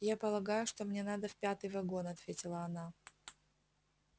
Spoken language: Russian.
я полагаю что мне надо в пятый вагон ответила она